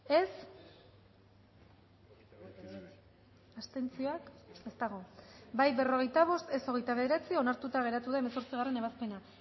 dezakegu bozketaren emaitza onako izan da hirurogeita hamalau eman dugu bozka berrogeita bost boto aldekoa veintinueve contra onartuta geratu da hemezortzigarren ebazpena